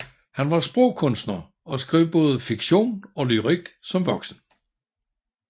Han var sprogkunstner og skrev både fiktion og lyrik som voksen